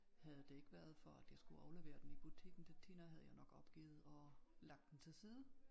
Havde det ikke været for at jeg skulle aflevere den i butikken til Tina havde jeg nok opgivet og lagt den til side